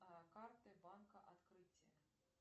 карты банка открытие